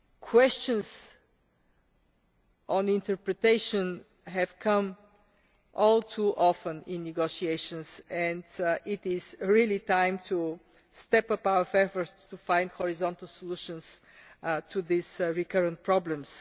Questions on interpretation have come up all too often in negotiations and it is really time to step up our efforts to find horizontal solutions to these recurrent problems.